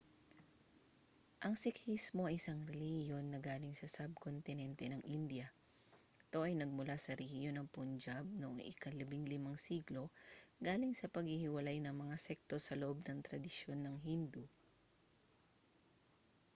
ang sikhismo ay isang relihiyon na galing sa sub-kontinente ng india ito ay nagmula sa rehiyon ng punjab noong ika-15 siglo galing sa paghihiwalay ng mga sekto sa loob ng tradisyon ng hindu